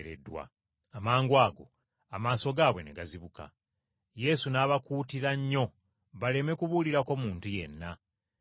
Amangwago amaaso gaabwe ne gazibuka. Yesu n’abakuutira nnyo baleme kubuulirako muntu yenna ng’abagamba nti, “Mulabe nga tewaba n’omu ategeera bibaddewo.”